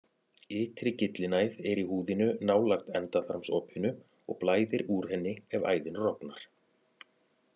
Ytri gyllinæð er í húðinni nálægt endaþarmsopinu og blæðir úr henni ef æðin rofnar.